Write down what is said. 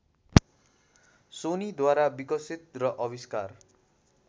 सोनीद्वारा विकसित र आविष्कार